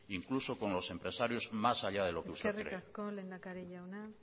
incluso con los empresarios más allá de lo que usted cree eskerrik asko lehendakari jauna